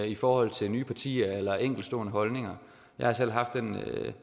i forhold til nye partier eller enkeltstående holdninger jeg har selv haft den